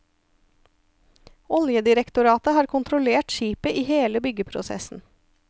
Oljedirektoratet har kontrollert skipet i hele byggeprosessen.